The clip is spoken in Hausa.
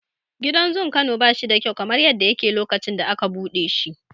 Gidan zun Kano bashi da kyau kamar yadda yake lokacin da aka buɗe shi.